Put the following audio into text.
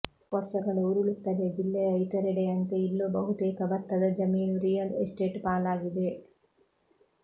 ವರ್ಷಗಳು ಉರುಳುತ್ತಲೇ ಜಿಲ್ಲೆಯ ಇತರೆಡೆಯಂತೆ ಇಲ್ಲೂ ಬಹುತೇಕ ಭತ್ತದ ಜಮೀನು ರಿಯಲ್ ಎಸ್ಟೇಟ್ ಪಾಲಾಗಿದೆ